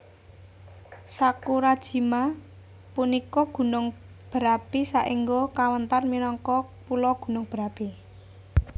Sakurajima punika gunung berapi saéngga kawéntar minangka pulo gunung berapi